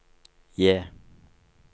J